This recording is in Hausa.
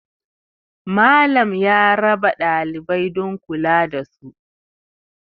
Malam ya rabawa ɗalibai don kula da su